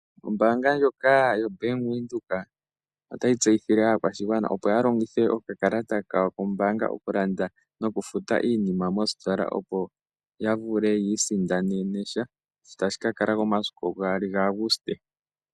Ombaanga ndjoka yoBank Windhoek otayi tseyithile aakwashigwana opo ya longithe okakalata kawo kombaanga okulqnda nokufuta iinima misitola, opo ya vule ya isindanene sha. Tashi ka kala ko momasiku gaali ga Aguste.